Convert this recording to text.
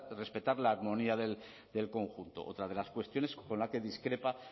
respetar la armonía del conjunto otra de las cuestiones con las que discrepa